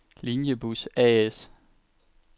Linjebus A/S